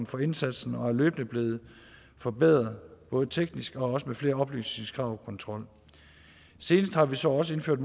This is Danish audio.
for indsatsen og er løbende blevet forbedret både teknisk og også med flere oplysningskrav og kontrol senest har vi så også indført